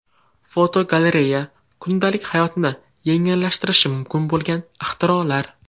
Fotogalereya: Kundalik hayotni yengillashtirishi mumkin bo‘lgan ixtirolar.